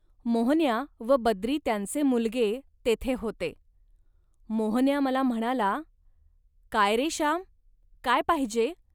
मोहन्या व बद्री त्यांचे मुलगे तेथे होते. मोहन्या मला म्हणाला, "काय, रे, श्याम, काय पाहिजे